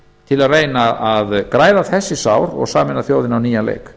til að reyna að græða þessi sár og sameina þjóðina á nýjan leik